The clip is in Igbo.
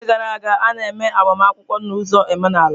N'oge gara aga, a na-eme agbamakwụkwọ na ụzọ omenala.